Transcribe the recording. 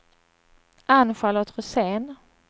Ann-Charlotte Rosén